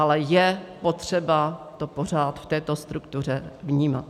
Ale je potřeba to pořád v této struktuře vnímat.